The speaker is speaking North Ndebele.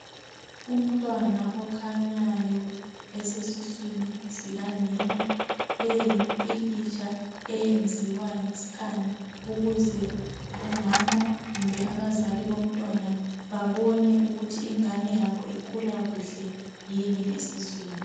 Umntwana okhanyayo osesuswini sikanina. Leyi yimphikhitsha eyenziwa ngeskhani ukuze umama kumbe abazali bomntwana, babone ukuthi ingane yabo ikhula kuhle yini esuswini.